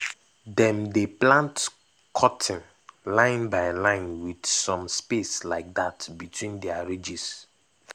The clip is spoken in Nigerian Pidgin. dem dey plant cotton line by line with some space like dat between their ridges